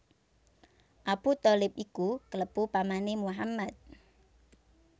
Abu Tholib iku klebu pamané Muhammad